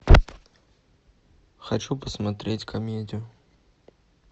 хочу посмотреть комедию